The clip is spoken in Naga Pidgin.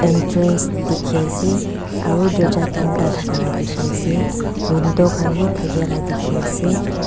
entrance dikhiase aro dorcha teen ta thakala dikhiase window khan bi thakela dikhiase.